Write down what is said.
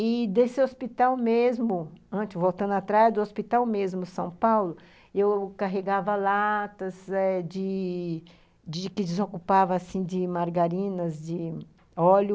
E desse hospital mesmo, antes, voltando atrás do hospital mesmo, São Paulo, eu carregava latas eh de... que desocupava, assim, de margarinas, de óleo,